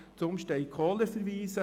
Zumstein/Kohler .